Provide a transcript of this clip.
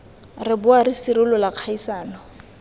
re boa re sirolola kgaisano